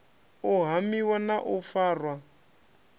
u hamiwa na u farwa